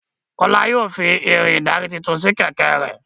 Kola yóò fí Irin ìdarí títún sí kẹ̀kẹ́ rẹ.